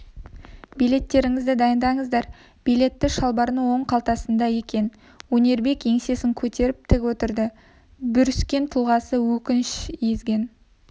билеттеріңізді дайындаңыздар билеті шалбарының оң қалтасында екен өнербек еңсесін көтеріп тік отырды бүріскен тұлғасы өкініш езген